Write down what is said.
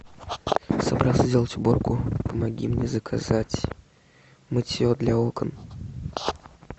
собрался сделать уборку помоги мне заказать мытье для окон